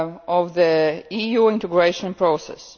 of the EU integration process.